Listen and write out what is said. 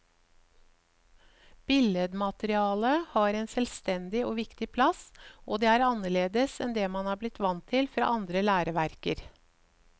Billedmaterialet har en selvstendig og viktig plass, og det er annerledes enn det man er blitt vant til fra andre læreverker.